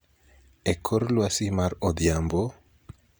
e kor lwasi mar odhiambo,